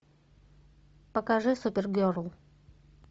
покажи супергерл